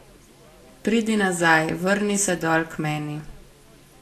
Pridi nazaj, vrni se dol k meni.